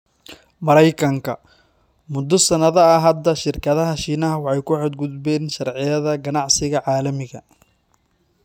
Mareykanka: 'Muddo sanado ah hadda, shirkadaha Shiinaha waxay ku xad-gudbeen sharciyada ganacsiga caalamiga'